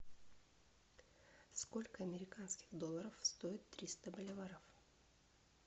сколько американских долларов стоит триста боливаров